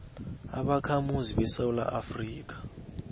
ubakhamuzi besewula afrika